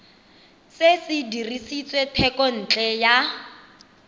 se se dirisitswe thekontle ya